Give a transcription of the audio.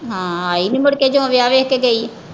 ਹਾਂ ਆਈ ਨਈਂ ਮੁੜ ਕੇ ਜਦੋਂ ਵਿਆਹ ਵੇਖ ਕੇ ਗਈ?